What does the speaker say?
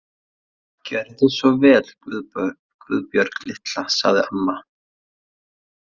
Gjörðu svo vel Guðbjörg litla, sagði amma.